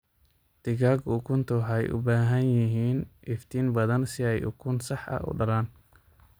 Digaagga ukunta waxay u baahan yihiin iftiin badan si ay ukun sax ah u dhalaan.